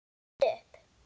Stattu upp!